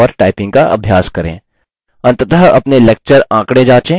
अंततः अपने lecture आंकड़े जाँचें